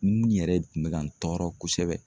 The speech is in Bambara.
Mun yɛrɛ kun bɛ ka n tɔɔrɔ kosɛbɛ.